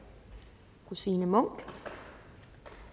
fru signe munk